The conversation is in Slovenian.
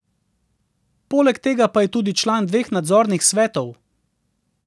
Poleg tega pa je tudi član dveh nadzornih svetov.